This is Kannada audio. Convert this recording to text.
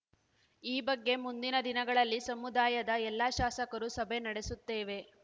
ಈ ಬಗ್ಗೆ ಮುಂದಿನ ದಿನಗಳಲ್ಲಿ ಸಮುದಾಯದ ಎಲ್ಲ ಶಾಸಕರೂ ಸಭೆ ನಡೆಸುತ್ತೇವೆ